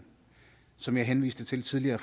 som jeg henviste til tidligere